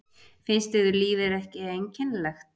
Finnst yður lífið ekki einkennilegt?